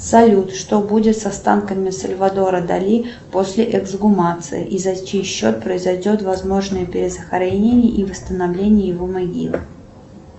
салют что будет с останками сальвадора дали после эксгумации и за чей счет произойдет возможное перезахоронение и восстановление его могилы